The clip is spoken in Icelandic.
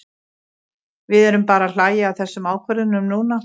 Við erum bara að hlæja að þessum ákvörðunum núna.